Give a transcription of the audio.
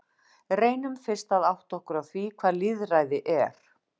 Reynum fyrst að átta okkur á því hvað lýðræði er.